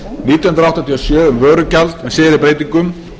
nítján hundruð áttatíu og sjö um vörugjald með síðari breytingum